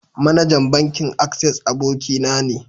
Managan bankin "access" aboki na ne.